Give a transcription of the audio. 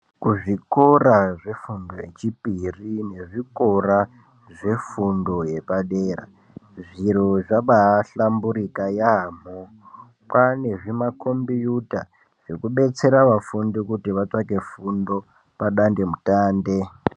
Kuzvikora zvefundo yechipiri nezvikora zvefundo yepadera zviro zvabahlamburika yaamho. Kwane zvimakombiyuta zvekudetsera vafundi kuti vatsvake fundo padandemutande.